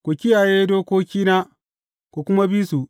Ku kiyaye dokokina, ku kuma bi su.